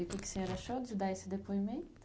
E o que que o senhor achou de dar esse depoimento?